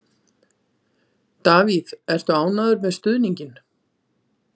Davíð, ertu ánægður með stuðninginn?